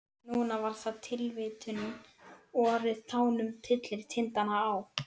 Núna var það tilvitnunin: Vorið tánum tyllir tindana á.